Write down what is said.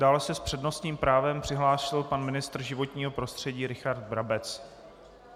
Dále se s přednostním právem přihlásil pan ministr životního prostředí Richard Brabec.